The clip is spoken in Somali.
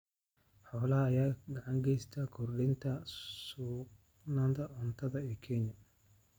Xoolaha ayaa gacan ka geysta kordhinta sugnaanta cuntada ee Kenya.